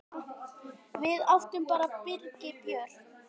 Við áttum bara Birgi Björn.